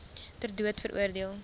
ter dood veroordeel